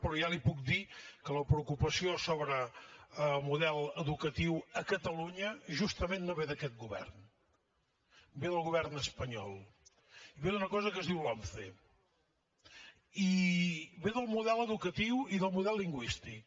però ja li puc dir que la preocupació sobre model educatiu a catalunya justament no ve d’aquest govern ve del govern espanyol i ve d’una cosa que es diu lomce i ve del model educatiu i del model lingüístic